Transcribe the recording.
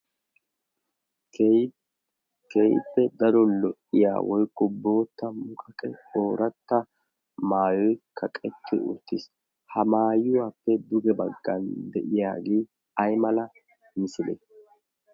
keeyitpe daro lo7iya woi ku bootta muqaqe ooratta maayoi kaqekki urttiis ha maayuwaappe duge baggan de7iyaagii ai mala misile